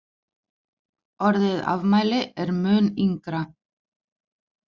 Orðið afmæli er mun yngra.